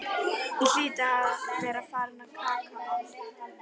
Ég hlýt að vera farin að kalka,